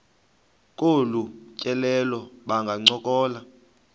kolu tyelelo bangancokola